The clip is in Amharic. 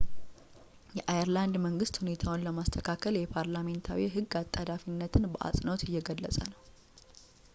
የአየርላንድ መንግሥት ሁኔታውን ለማስተካከል የፓርላሜንታዊ ሕግ አጣዳፊነትን በአጽንኦት እየገለጸ ነው